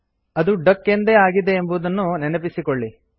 ಅದು ಡಕ್ ಎಂದೇ ಆಗಿದೆ ಎಂಬುದನ್ನು ನೆನಪಿಸಿಕೊಳ್ಳಿ